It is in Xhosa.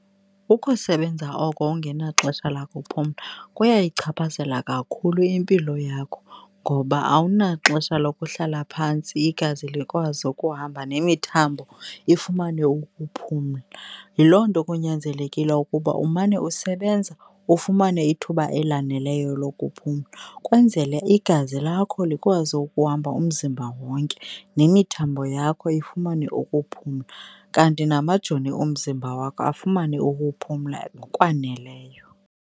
Ukusebenza oko ungenaxesha lakuphumla kuyayichaphazela kakhulu impilo yakho ngoba awunaxesha lokuhlala phantsi igazi likwazi ukuhamba nemithambo ifumane ukuphumla. Yiloo nto kunyanzelekile ukuba umane usebenza, ufumane ithuba elaneleyo lokuphumla kwenzele igazi lakho likwazi ukuhamba umzimba wonke, nemithambo yakho ifumane ukuphumla, kanti namajoni omzimba wakho afumane ukuphumla ngokwaneleyo.